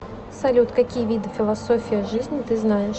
салют какие виды философия жизни ты знаешь